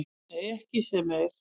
Nei, ekki sem er.